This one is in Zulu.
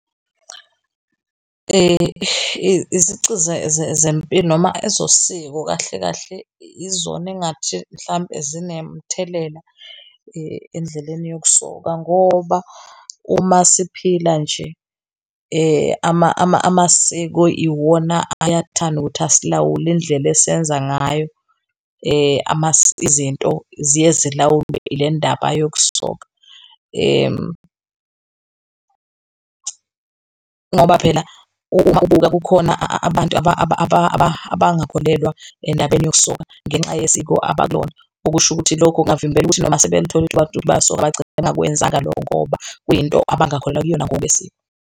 Izici zempilo noma ezosiko kahle kahle izona engathi mhlampe zinemithelela endleleni yokusoka ngoba uma siphila nje amasiko iwona aye athande ukuthi asilawule indlela esiyenza ngayo. Izinto ziye zilawulwe yile ndaba iyakusoka ngoba phela uma ubuka kukhona abantu abangakholelwa endabeni yokusoka ngenxa yesiko abakulona. Okusho ukuthi lokhu kungabavimbela ukuthi noma sebeyalithola ithuba lokuthi bayasoka bangagcina bengakwenzanga lokho ngoba kuyinto abangakholelwa kuyona ngokwesiko.